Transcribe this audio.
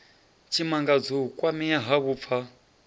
tshimangadzo u kwamea ha vhupfa